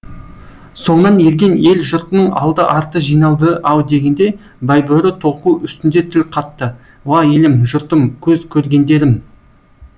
соңынан ерген ел жұртының алды арты жиналды ау дегенде байбөрі толқу үстінде тіл қатты уа елім жұртым көз көргендерім